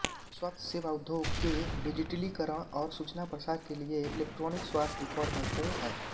स्वास्थ्य सेवा उद्योग के डिजिटलीकरण और सूचना प्रसार के लिए इलेक्ट्रॉनिक स्वास्थ्य रिकॉर्ड महत्वपूर्ण हैं